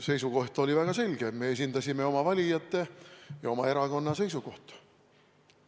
Seisukoht oli väga selge: me esindasime oma valijate ja oma erakonna seisukohta.